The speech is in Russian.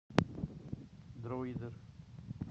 дроидер